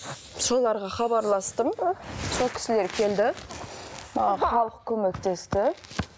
соларға хабарластым сол кісілер келді маған халық көмектесті